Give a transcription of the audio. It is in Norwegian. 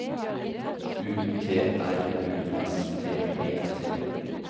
U T R U S T E T